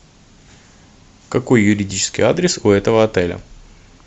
какой юридический адрес у этого отеля